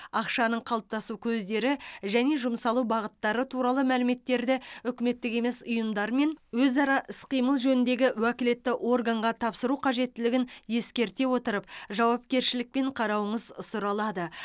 ақшаның қалыптасу көздері және жұмсалу бағыттары туралы мәліметтерді үкіметтік емес ұйымдармен өзара іс қимыл жөніндегі уәкілетті органға тапсыру қажеттілігін ескерте отырып жауапкершілікпен қарауыңыз сұралады